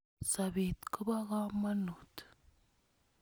Sopet ko po kamonut.